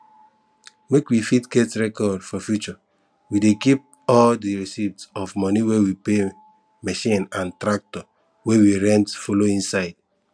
make we fit get record for future we dey keep all di receipt of moni we pay machine and tractor wey we rent follow inside